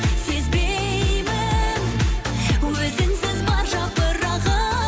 сезбеймін өзіңсіз бар жапырағы